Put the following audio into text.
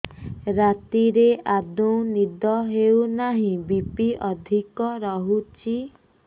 ରାତିରେ ଆଦୌ ନିଦ ହେଉ ନାହିଁ ବି.ପି ଅଧିକ ରହୁଛି